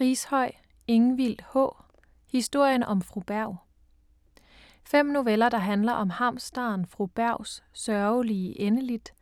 Rishøi, Ingvild H.: Historien om Fru Berg Fem noveller der handler om hamsteren Fru Bergs sørgelige endeligt,